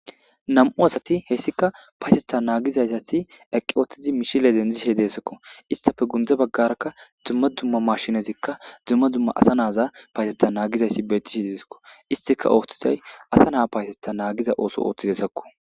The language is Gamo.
Nam'u asati he issika payateta nagida izati eqqi utida misile dumma dumma mashinetika dumma dumma asa nayita payateya nagiza izi betishe desiko.istika othizoyi asa nayita payateta nagiza oso oththida asako